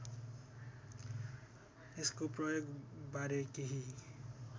यसको प्रयोगबारे केही